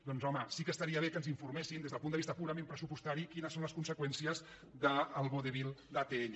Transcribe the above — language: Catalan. doncs home sí que estaria bé que ens informessin des del punt de vista purament pressupostari de qui·nes són les conseqüències del vodevil d’atll